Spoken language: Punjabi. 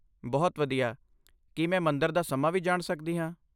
ਬਹੁਤ ਵਧੀਆ! ਕੀ ਮੈਂ ਮੰਦਰ ਦਾ ਸਮਾਂ ਵੀ ਜਾਣ ਸਕਦੀ ਹਾਂ?